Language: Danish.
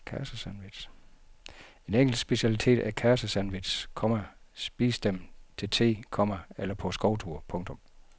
En engelsk specialitet er karsesandwiches, komma spis dem til the, komma eller på skovtur. punktum